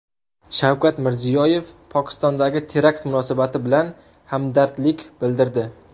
Shavkat Mirziyoyev Pokistondagi terakt munosabati bilan hamdardlik bildirdi.